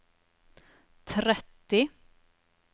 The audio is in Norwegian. tretti